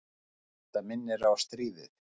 Þetta minnir á stríðið.